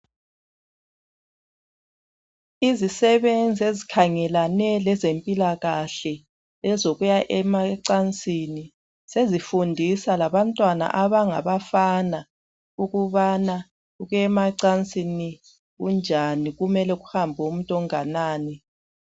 Izisebenzi ezikhangelane lezempilakahle ezokuya ecansini sezifundisa labantwana abangabafana ukubana ukuyemacansini kunjani kumele kuhambe umuntu onganani.